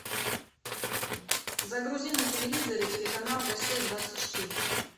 загрузи на телевизоре телеканал россия двадцать четыре